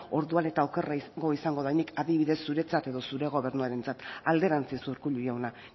orduan eta okerragoa izango da nik adibidez zuretzat edo zure gobernuarentzat alderantziz urkullu jauna